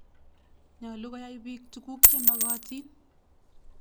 Nyalu koyai piik tuguk che mokotin.